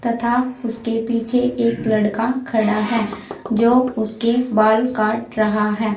तथा उसके पीछे एक लड़का खड़ा है जो उसके बाल काट रहा है।